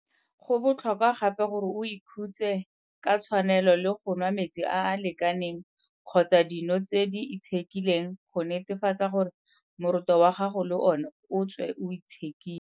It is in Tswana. Go botlhokwa gape gore o ikhutse ka tshwanelo le go nwa metsi a a lekaneng kgotsa dino tse di itshekileng go netefatsa gore moroto wa gago le ona o tswe o itshekile.